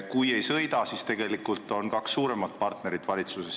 Kui ei sõida, siis jäävad sisuliselt rumalaks kaks suuremat partnerit valitsuses.